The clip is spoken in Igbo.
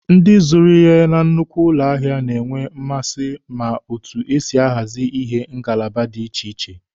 Ndị zụrụ ihe na nnukwu ụlọ ahịa na-enwe mmasị na otu esi ahazi ihe na ngalaba dị iche iche.